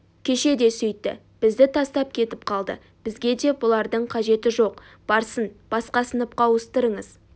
кеше де сөйтті бізді тастап кетіп қалды бізге де бұлардың қажеті жоқ барсын басқа сыныпқа ауыстырыңыз